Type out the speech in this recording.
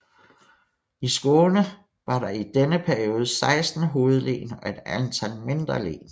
I Skåne var der i denne periode 16 hovedlen og et antal mindre len